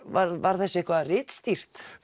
var var þessu eitthvað ritstýrt